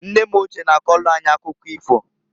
Nne m ochie na-akọlụ anyị akụkọ ifo.